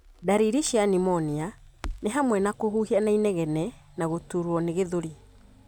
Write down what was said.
Ndariri cia pneumonia nĩ hamwe na kũhuhia na inegene na gũturwo nĩ gĩthũri.